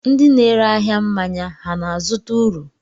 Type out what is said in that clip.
Ndị na-ere ahịa mmanya ha na-azụta uru?